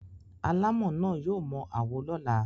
Alámọ̀ náà yóò mọ àwo lọ́la.